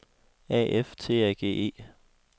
A F T A G E